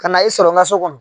Ka na i sɔrɔ n ka so kɔnɔ.